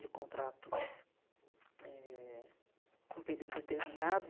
de contrato eh com um período determinado.